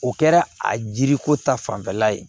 O kɛra a jiriko ta fanfɛla ye